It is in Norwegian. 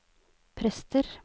prester